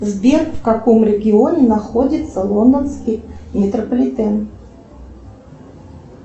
сбер в каком регионе находится лондонский метрополитен